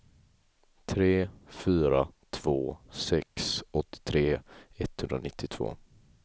tre fyra två sex åttiotre etthundranittiotvå